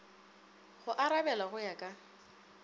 go arabela go ya ka